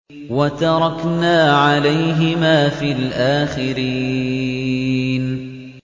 وَتَرَكْنَا عَلَيْهِمَا فِي الْآخِرِينَ